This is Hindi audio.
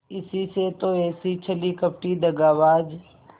इसी से तो ऐसी छली कपटी दगाबाज